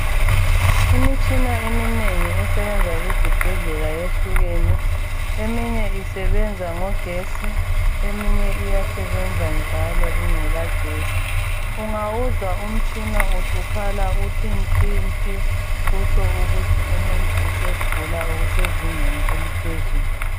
Imitshina eminengi esebenza ezibhedlela yehlukene eminye isebenza ngogetsi eminye iyasebenza njalo ingela getsi. Ungawuzwa umtshina usukhala uthi nti nti kutsho ukuthi umuntu usegula okusezingeni eliphezulu.